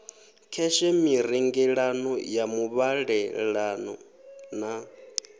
kheshe mirengelano ya muvhalelano na